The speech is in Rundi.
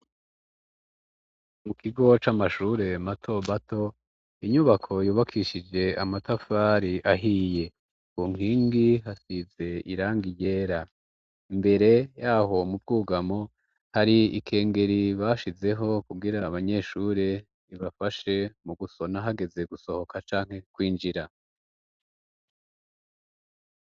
Mu kigo c'amashure matobato inyubako yubakishije amatafari ahiye bu nkingi hasize iranga yera imbere yaho mubwugamo hari ikengeri bashizeho kugira abanyeshure ibafashe mu gusona hageze gusoma ka canke kwinjira.